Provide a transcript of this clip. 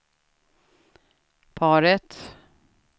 paret